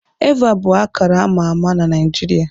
Eva bụ akara ama ama n'Naịjirịa.